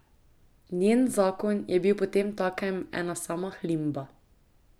Njen zakon je bil potemtakem ena sama hlimba.